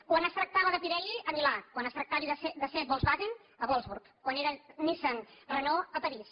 quan es tractava de pirelli a milà quan es tractava de seat volkswagen a wolfsburg quan era nissan renault a parís